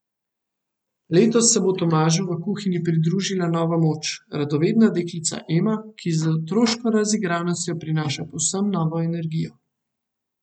Letos se bo Tomažu v kuhinji pridružila nova moč, radovedna deklica Ema, ki z otroško razigranostjo prinaša povsem novo energijo.